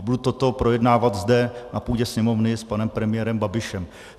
A budu toto projednávat zde na půdě Sněmovny s panem premiérem Babišem.